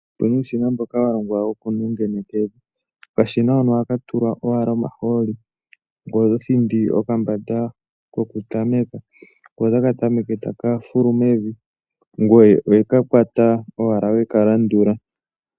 Opu na uushina mboka wa longwa wokunengeneka evi. Okashina hono ohaka tulwa owala omahooli ngoye oto thindi okambande kokutameka, ko otaka tameke taka fulu mevi. Ngoye owe ka kwata owala we ka landula.